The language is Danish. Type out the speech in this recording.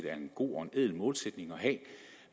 er en god og ædel målsætning at